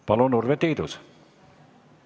Palun, Urve Tiidus!